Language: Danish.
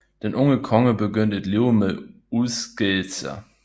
Den unge konge begyndte et liv med udskejelser